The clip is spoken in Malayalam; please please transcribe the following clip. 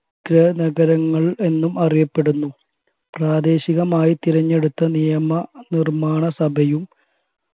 ഗ്രഹനഗരങ്ങൾ എന്നും അറിയപ്പെടുന്നു പ്രാദേശികമായി തിരഞ്ഞെടുത്ത നിയമനിർമ്മാണ സഭയും